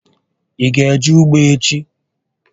Ị ga eje ugbo echi?